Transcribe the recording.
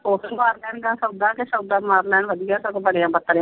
ਓਦੋਂ ਹੀ ਮਾਰ ਲੈਂਦਾ ਸੌਦਾ ਕੇ ਸੌਦਾ ਮਾਰ ਲੈਣ ਵਧੀਆ ਸਗੋਂ ਬਣਿਆ .